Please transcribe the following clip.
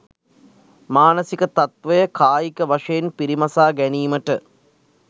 මානසික තත්ත්වය කායික වශයෙන් පිරිමසා ගැනීමට